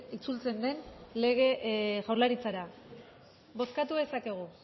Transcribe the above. itzultzen den jaurlaritzara bozkatu dezakegu